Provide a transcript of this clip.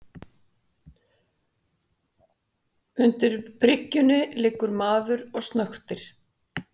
Undir bryggjunni liggur maður og snöktir.